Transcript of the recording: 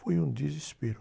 Foi um desespero.